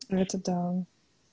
ну это да